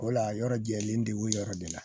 O la yɔrɔ jɛlen de o yɔrɔ de la